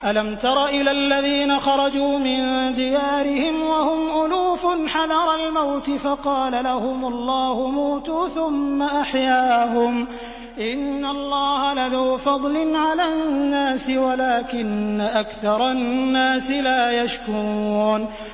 ۞ أَلَمْ تَرَ إِلَى الَّذِينَ خَرَجُوا مِن دِيَارِهِمْ وَهُمْ أُلُوفٌ حَذَرَ الْمَوْتِ فَقَالَ لَهُمُ اللَّهُ مُوتُوا ثُمَّ أَحْيَاهُمْ ۚ إِنَّ اللَّهَ لَذُو فَضْلٍ عَلَى النَّاسِ وَلَٰكِنَّ أَكْثَرَ النَّاسِ لَا يَشْكُرُونَ